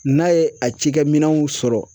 N'a ye a cikɛminɛnw sɔrɔ